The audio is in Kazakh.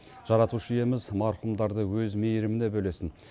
жаратушы иеміз марқұмдарды өз мейіріміне бөлесін